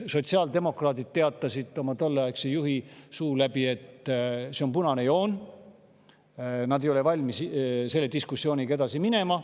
Sotsiaaldemokraadid teatasid oma tolleaegse juhi suu läbi, et see on punane joon, nad ei ole valmis selle diskussiooniga edasi minema.